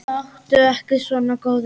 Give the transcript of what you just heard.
Láttu ekki svona góði.